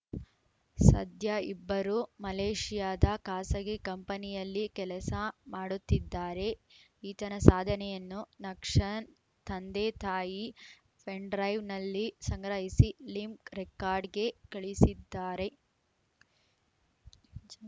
ಸದ್ಯ ಇಬ್ಬರೂ ಮಲೇಷಿಯಾದ ಖಾಸಗಿ ಕಂಪನಿಯಲ್ಲಿ ಕೆಲಸ ಮಾಡುತ್ತಿದ್ದಾರೆ ಈತನ ಸಾಧನೆಯನ್ನು ನಕ್ಷನ್ ತಂದೆ ತಾಯಿ ಪೆನ್‌ ಡ್ರೈವ್‌ ನಲ್ಲಿ ಸಂಗ್ರಹಿಸಿ ಲಿಮ್ಕ್ ರೆಕಾರ್ಡ್‌ಗೆ ಕಳಿಸಿದ್ದಾರೆ